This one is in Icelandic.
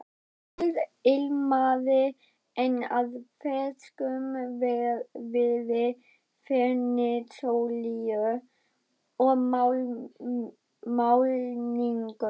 Húsið ilmaði enn af ferskum viði, fernisolíu og málningu.